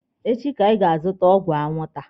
Echi ka anyị ga-azụta ọgwụ anwụnta.